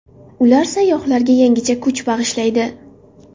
Ular sayyohlarga yangicha kuch bag‘ishlaydi.